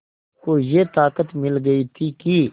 को ये ताक़त मिल गई थी कि